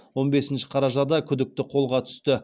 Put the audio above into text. он бесінші қарашада күдікті қолға түсті